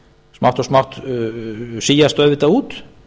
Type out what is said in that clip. smátt og smátt síast auðvitað út